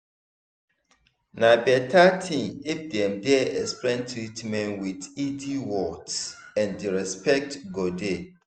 na better thing if dem dey explain treatment with easy words and respect go dey.